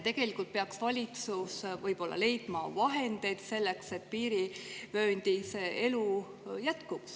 Tegelikult peaks valitsus leidma vahendeid selleks, et piirivööndis elu jätkuks.